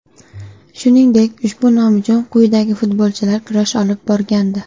Shuningdek, ushbu nom uchun quyidagi futbolchilar kurash olib borgandi.